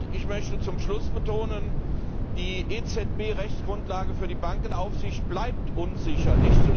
Ich möchte zum Schluss betonen Die EZB Rechtsgrundlage für die Bankenaufsicht bleibt unsicher.